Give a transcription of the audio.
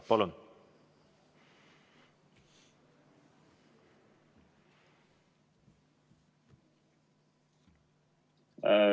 Palun!